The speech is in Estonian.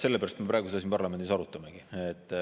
Sellepärast me praegu seda siin parlamendis arutamegi.